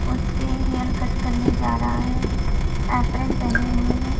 उसके hair cut करने जा रहा है एप्रेन पहने हुए हैं।